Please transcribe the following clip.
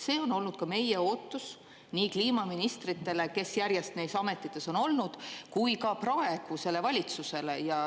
See on olnud ka meie ootus nii kliimaministritele, kes järjest neis ametites on olnud, kui ka praegusele valitsusele.